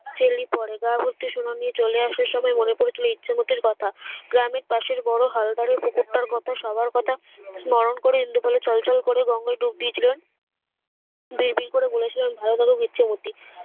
চেল্লি পরে গায়ে ভর্তি সোনা নিয়ে চলে আসার সময়ে মনে পড়েছিল ইচ্ছেমতির কথা গ্রামের পাসের বড়ো হাল ধরে পুকুরটার কথা সবার কথা বেশ নরম করে ইন্দুপালের ছল ছল করে গঙ্গায় ডুব দিয়েছিলেন বিড় বিড় করে বলেছিলেন ভাই দেখো ইছামতি